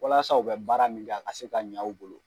Walasa u bɛ baara min kɛ ka se ka ɲa u bolo